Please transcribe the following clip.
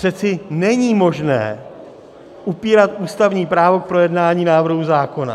Přece není možné upírat ústavní právo k projednání návrhu zákona.